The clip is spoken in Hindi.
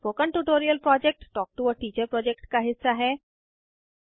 spoken tutorial project talk to a teacher project का हिस्सा है